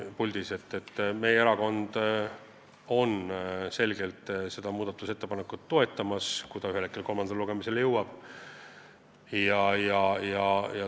Meie erakond toetab seda eelnõu kindlalt, kui ta ühel hetkel kolmandale lugemisele jõuab.